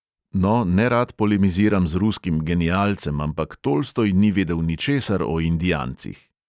No, nerad polemiziram z ruskim genialcem, ampak tolstoj ni vedel ničesar o indijancih.